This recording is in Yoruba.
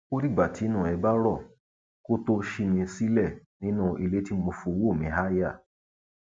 ó dìgbà tínú ẹ bá rọ kó tóo ṣí mi sílẹ nínú ilé tí mo fọwọ mi háàyà